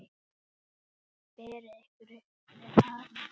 Berið ykkur upp við hann!